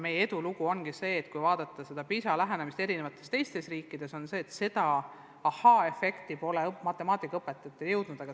Meie eduloo taga ongi see, et kui võrrelda seda PISA lähenemisega teistes riikides, siis näeme, see ahaa-efekt pole matemaatikaõpetajateni jõudnud.